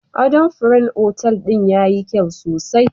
Adona furen otal din yayi kyau sosai